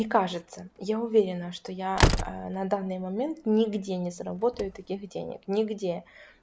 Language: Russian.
не кажется я уверена что я на данный момент нигде не заработаю таких денег нигде